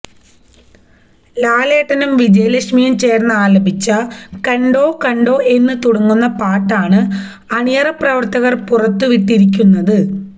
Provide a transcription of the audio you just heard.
ലാലേട്ടനും വിജയലക്ഷ്മിയും ചേർന്ന് ആലപിച്ച കണ്ടോ കണ്ടോ എന്ന് തുടങ്ങുന്ന പാട്ടാണ് ആണിയറ പ്രവർത്തകർ പുറത്തു വിട്ടിരിക്കുന്നത്